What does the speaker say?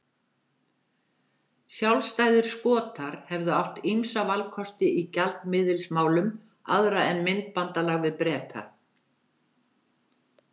Sjálfstæðir Skotar hefðu átt ýmsa valkosti í gjaldmiðilsmálum aðra en myntbandalag við Breta.